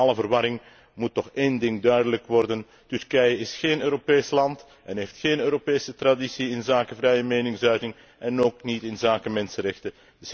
Doorheen alle verwarring moet toch één ding duidelijk worden Turkije is géén Europees land en heeft géén Europese traditie inzake vrije meningsuiting en ook niet inzake mensenrechten.